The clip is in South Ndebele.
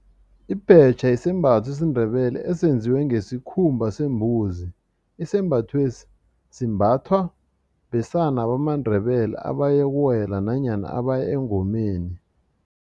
Ibhetjha sisembatho sesiNdebele esenziwe ngesikhumba sembuzi isembathwesi simbathwa besana bamaNdebele abayokuwela nanyana abaya engomeni.